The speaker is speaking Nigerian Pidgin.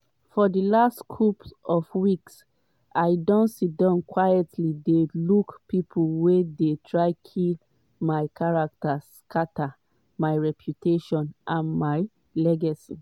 for di last couple of weeks i don siddon quietly dey look pipo wey dey try kill my character scata my reputation and my legacy.